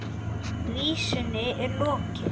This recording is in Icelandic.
Vísunni er lokið.